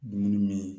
Dumuni min